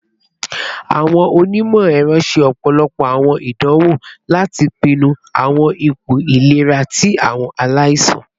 Awọn onimọ-ẹrọ ṣe ọpọlọpọ awọn idanwo lati pinnu awọn ipo ilera ti awọn alaisan